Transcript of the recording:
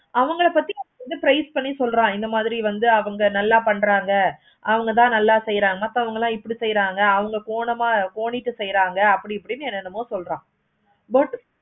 அவங்கள பத்தி ஒரு price பண்ணி சொல்றான். இந்த மாதிரி வந்து அவங்க நல்ல பன்றாங்க. அவங்கதான் நல்ல செய்றாங்க அப்போ வாங்கலாம் இப்படி செய்றாங்க. அவங்க போனோமா கோனிட்டு செய்றாங்க. அப்படி இப்படின்னு என்ன என்னமோ சொல்றான். but